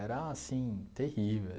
Era, assim, terrível.